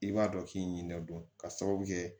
I b'a dɔn k k'i ɲininka don ka sababu kɛ